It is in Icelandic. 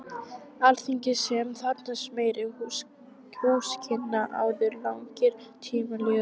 Alþingis, sem þarfnast meiri húsakynna, áður langir tímar líða.